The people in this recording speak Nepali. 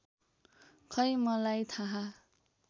खै मलाई थाह